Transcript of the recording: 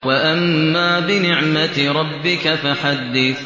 وَأَمَّا بِنِعْمَةِ رَبِّكَ فَحَدِّثْ